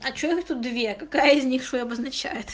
а что их тут две какая из них что обозначает